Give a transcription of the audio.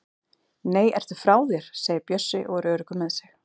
Nei, ertu frá þér! segir Bjössi og er öruggur með sig.